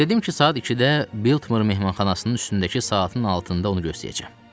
Dedim ki, saat ikidə Biltmore mehmanxanasının üstündəki saatın altında onu gözləyəcəm.